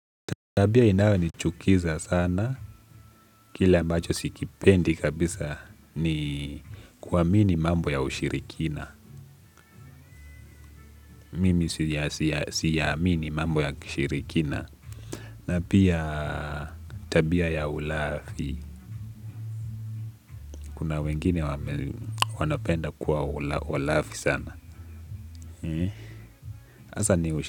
Tabia inayonichukiza sana, kile ambacho sikipendi kabisa ni kuamini mambo ya ushirikina, mimi siyamini mambo ya kishirikina, na pia tabia ya ulafi, kuna wengine wanapenda kuwa walafi sana.